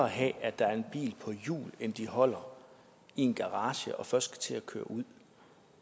have at der er en bil på hjul end at de holder i en garage og først skal til at køre ud